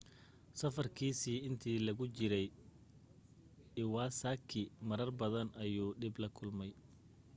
safarkiisii intii lagu jiray iwasaki marar badan ayuu dhib la kulmay